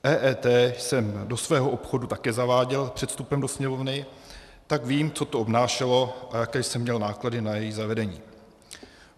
EET jsem do svého obchodu také zaváděl před vstupem do Sněmovny, tak vím, co to obnášelo a jaké jsem měl náklady na její zavedení.